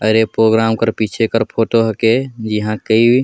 अरे प्रोग्राम कर पीछे कर फोटो हिके एहा कई--